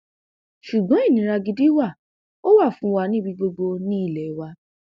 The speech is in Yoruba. ṣùgbọn ìnira gidi wa ò wà fún wa níbi gbogbo ní ilé wa